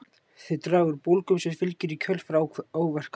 þau draga úr bólgum sem fylgja í kjölfar áverka